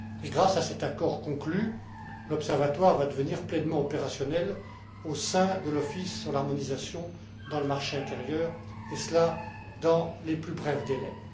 Et grâce à cet accord conclu, l'Observatoire va devenir pleinement opérationnel au sein de l'Office de l'harmonisation dans le marché intérieur, et cela dans les plus brefs délais.